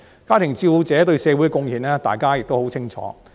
家庭照顧者對社會的貢獻，大家亦很清楚。